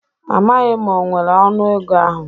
Amaghị m ma o nwere ọnụ ego ahụ